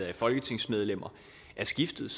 af folketingsmedlemmer er skiftet